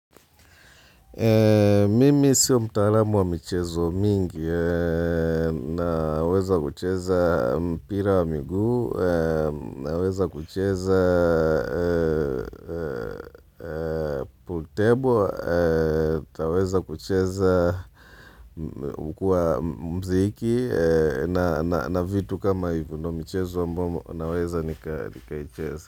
Mimi sio mtalamu wa michezo mingi, naweza kucheza mpira wa miguu, naweza kucheza pool table, taweza kucheza ukua mziki, na vitu kama hivo ndio a michezo ambayo naweza nikaicheza.